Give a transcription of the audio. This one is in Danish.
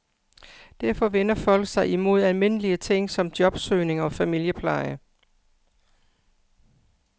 Derfor vender folk sig imod almindelige ting som jobsøgning og familiepleje.